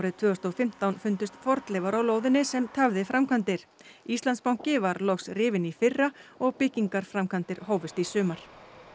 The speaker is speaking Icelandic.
tvö þúsund og fimmtán fundust fornleifar á lóðinni sem tafði framkvæmdir Íslandsbanki var loks rifinn í fyrra og byggingarframkvæmdir hófust í sumar